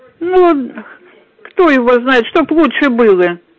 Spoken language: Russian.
ну кто его знает чтоб лучше было